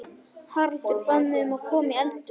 Haraldur bað mig að koma í eldhús.